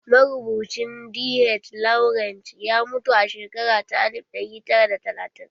Marubucin DH Lawrence ya mutu a shekara ta alif ɗari tara da talatin.